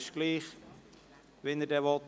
Das spielt keine Rolle, wie er will.